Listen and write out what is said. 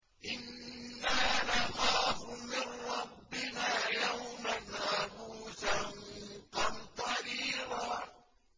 إِنَّا نَخَافُ مِن رَّبِّنَا يَوْمًا عَبُوسًا قَمْطَرِيرًا